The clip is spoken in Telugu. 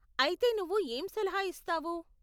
అయితే నువ్వు ఏం సలహా ఇస్తావు?